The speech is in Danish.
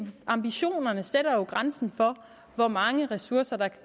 ambitionerne sætter grænsen for hvor mange ressourcer der